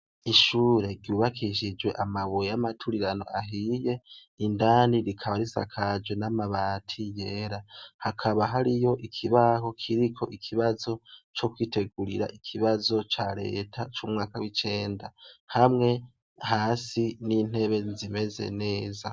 Ishure ryubakishijwe amabuye y'amaturirano ahiye, indani rikaba rikaba risakajwe n'amabati yera. Hakaba hariyo ikibaho kiriko ikibazo co kwitegurira ikibazo ca Reta c'umwaka w'icenda hamwe hasi n'intebe zimeze neza.